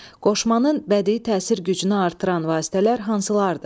Qoşmanın bədii təsir gücünü artıran vasitələr hansılardır?